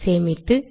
சேமித்து